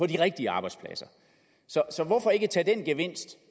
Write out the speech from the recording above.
de rigtige arbejdspladser så hvorfor ikke tage den gevinst